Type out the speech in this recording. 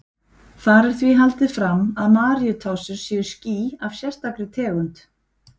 Þar er því haldið fram að Maríutásur séu ský af sérstakri tegund.